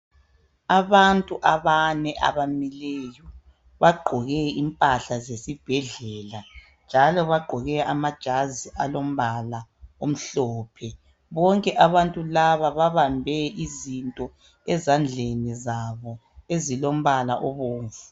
Abantu abane abamileyo bagqoke impahla zesi njalo bagqoke amajazi alombala omhlophe bonke abantu laba babambe izinto ezandleni zabo ezilombala obomvu.